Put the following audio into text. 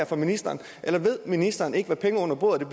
for ministeren eller ved ministeren ikke hvad penge under bordet